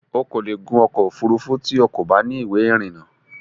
O kò lè gun ọkọ̀ òfurufú tí o kò bá ní ìwé ìrìnnà